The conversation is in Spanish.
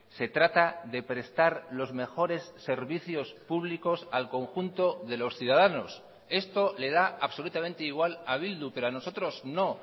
se trata de prestar los mejores servicios públicos al conjunto de los ciudadanos esto le da absolutamente igual a bildu pero a nosotros no